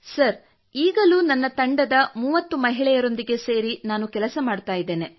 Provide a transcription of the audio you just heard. sir ಈಗಲೂ ನನ್ನ ತಂಡದ 30 ಮಹಿಳೆಯರೊಂದಿಗೆ ಸೇರಿ ಕೆಲಸ ಮಾಡುತ್ತಿದ್ದೇನೆ